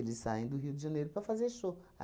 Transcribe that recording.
saem do Rio de Janeiro para fazer show.